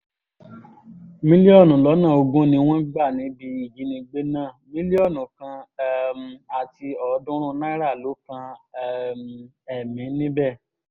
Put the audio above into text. mílíọ̀nù lọ́nà ogún ni wọ́n gbà níbi ìjínigbé náà mílíọ̀nù kan um àti ọ̀ọ́dúnrún náírà ló kan um ẹ̀mí níbẹ̀